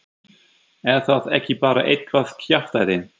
Er það ekki bara eitthvað kjaftæði?